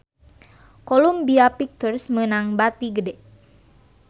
Columbia Pictures meunang bati gede